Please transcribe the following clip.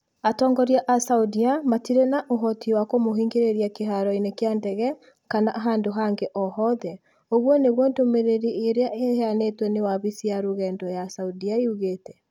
Atongoria a Saudia matirĩ na ũhoti wa kũmũhingĩrĩria kĩharo-inĩ kĩa ndege kana handũ hangĩ o hothe", ũguo nĩguo ndũmĩrĩri ĩrĩa ĩheanĩtwo nĩ wabici ya rũgendo ya Saudia yugĩte.